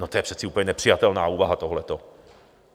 No to je přeci úplně nepřijatelná úvaha tohle.